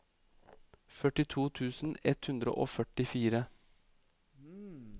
førtito tusen ett hundre og førtifire